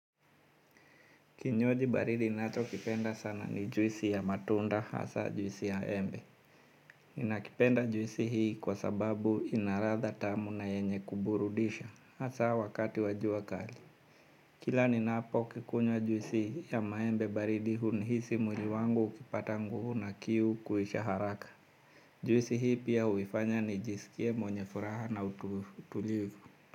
Kinywaji baridi ninachokipenda sana ni juisi ya matunda hasa juisi ya embe. Ninakipenda juisi hii kwa sababu ina radha tamu na yenye kuburudisha hasa wakati wa jua kali. Kila ninapokunywa juisi ya maembe baridi hunihisi mwili wangu kupata nguvu na kiu kuisha haraka. Juisi hii pia huifanya nijisikie mwenye furaha na utulivu.